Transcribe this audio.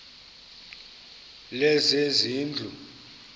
lezezindlu